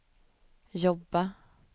jobba